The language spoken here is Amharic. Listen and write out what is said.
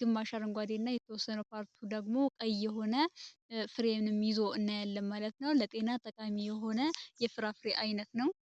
ግማሽ አረንጓዴ እና ቀይ ፍሬኖም ይዞ እናያለን ማለት ነው። ለጤና ጠቃሚ የሆነ የፍራፍሬ አይነት ነው።